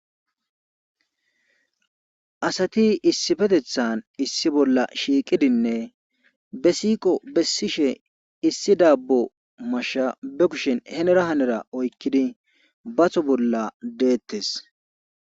Asati issifetethan iss bolla shiiqidinne be siiqo bessishe issi daabbo masha be kushen henerahenera oykkidi batho bolla deettees.